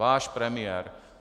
Váš premiér.